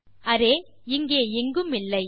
இப்போது அரே இங்கே எங்குமில்லை